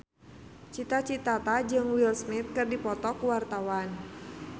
Cita Citata jeung Will Smith keur dipoto ku wartawan